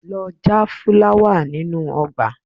Lọ já fúláwà nínú ọgbà!